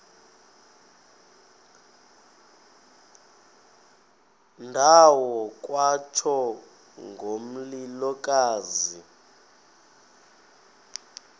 ndawo kwatsho ngomlilokazi